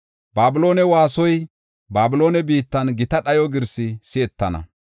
“Babiloonen waasoy, Babiloone biittan gita dhayo girsi si7etana.